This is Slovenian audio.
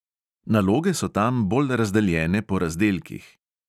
Naloge so tam bolj razdeljene po razdelkih.